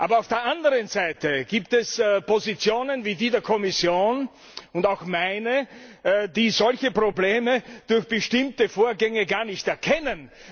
Aber auf der anderen Seite gibt es Positionen wie die der Kommission und auch meine, die solche Probleme durch bestimmte Vorgänge gar nicht erkennen.